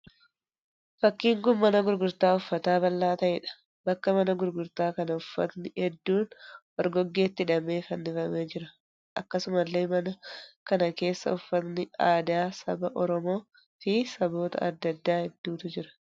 Fakkiin kun mana gurgurtaa uffataa bal'aa ta'eedha. Bakka mana gurgurtaa kana uffatni hedduun orgoggeetti hidhamee fannifamee jira. Akkasumallee mana kana keessa uffatni aadaa saba Oromoo fi saboota adda addaa hedduutu jira.